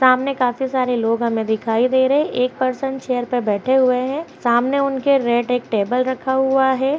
सामने काफी सारे लोग हमें दिखाई दे रहे हैं। एक पर्सन चेयर पर बैठे हुए हैं सामने उनके रेड एक टेबल रखा हुआ है।